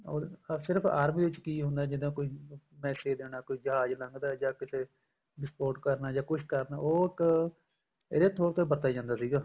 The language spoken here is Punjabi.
or ਸਿਰਫ ਆਰਮੀ ਚ ਕੀ ਹੁੰਦਾ ਜਿੱਦਾਂ ਕੋਈ message ਦੇਣਾ ਕੋਈ ਜਹਾਜ ਲੰਘਦਾ ਜਾਂ ਕਿਤੇ ਵਿਸਪੋਟ ਕਰਨਾ ਜਾਂ ਕੁੱਛ ਕਰਨਾ ਉਹ ਇੱਕ ਇਹਦੇ ਤੋਰ ਤੇ ਵਰਤਿਆ ਜਾਂਦਾ ਸੀਗਾ